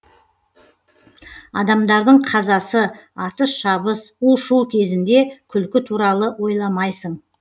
адамдардың қазасы атыс шабыс у шу кезінде күлкі туралы ойламайсың